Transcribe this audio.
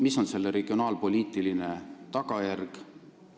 Mis on selle regionaalpoliitiline tagajärg?